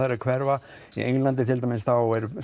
er að hverfa í Englandi til dæmis